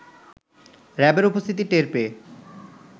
র‌্যাবের উপস্থিতি টের পেয়ে